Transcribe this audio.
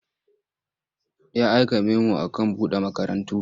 Ya aika memo a man buɗe makarantu.